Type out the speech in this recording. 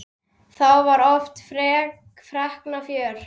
Þá var oft feikna fjör.